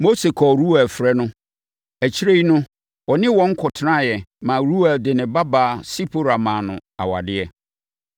Mose kɔɔ Reuel frɛ no. Akyire yi no, ɔne wɔn kɔtenaeɛ ma Reuel de ne babaa Sipora maa no awadeɛ.